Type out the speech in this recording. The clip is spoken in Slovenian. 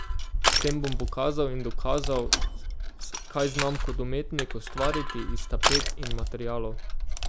S tem bom pokazal in dokazal, kaj znam kot umetnik ustvariti iz tapet in materialov.